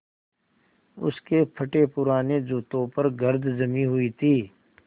उसके फटेपुराने जूतों पर गर्द जमी हुई थी